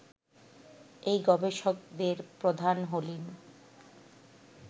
এই গবেষকদের প্রধান হলেন